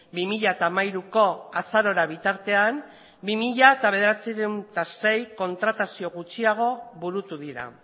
bi mila hamairuko azarora bitartean bi mila bederatziehun eta sei kontratazio gutxiago burutu dira